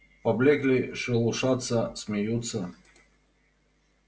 поблёкли шелушатся смеются